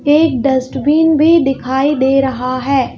एक डस्टबिन भी दिखाई दे रहा है।